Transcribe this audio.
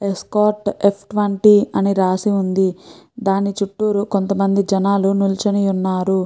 Escort F twenty అని రాసి ఉంది. దాని చుట్టూరూ కొంతమంది జనాలు నిల్చుని ఉన్నారు.